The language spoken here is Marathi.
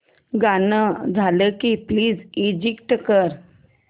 गाणं झालं की प्लीज एग्झिट कर